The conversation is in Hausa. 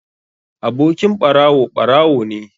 Abokin ɓarawo, ɓarawo ne.